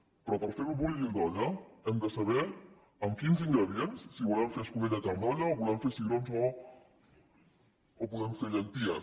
però per fer bullir l’olla hem de saber amb quins ingredients si volem fer escudella i carn d’olla o volem fer cigrons o podem fer llenties